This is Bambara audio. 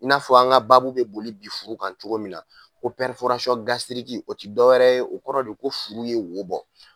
I n'a fɔ an ŋa baabu be boli bi furu kan cogo min na ko o ti dɔ wɛrɛ ye o kɔrɔ de ko furu ye wo bɔ.